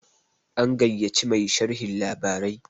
an gaiya ci Mai sharhon labarai